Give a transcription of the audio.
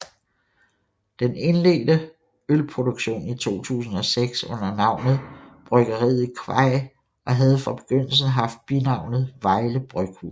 Det indledte ølproduktionen i 2006 under navnet Bryggeriet Kvajj og havde fra begyndelsen haft binavnet Vejle Bryghus